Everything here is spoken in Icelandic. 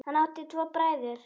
Hann átti tvo bræður.